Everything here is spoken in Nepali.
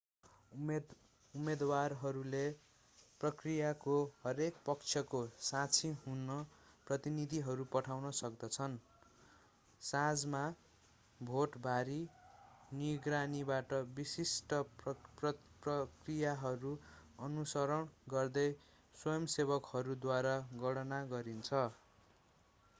उम्मेदवारहरूले प्रक्रियाको हरेक पक्षको साक्षी हुन प्रतिनिधिहरू पठाउन सक्दछन् साँझमा भोट भारी निगरानीमा विशिष्ट प्रक्रियाहरू अनुसरण गर्दै स्वयंसेवकहरूद्वारा गणना गरिन्छ